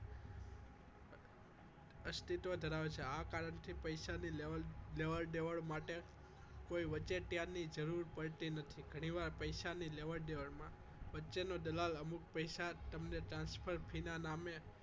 અસ્તિત્વ ધરાવે છે આ કારણથી પૈસાની લેવડ દેવડ માટે કોઈ વચોટિયાની જરૂર પડતી નથી ઘણીવાર પૈસાની લેવડ દેવડ માં વચ્ચેનો દલાલ અમુક પૈસા તમને transfer fee ના નામે